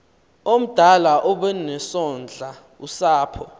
omdala obesondla usapho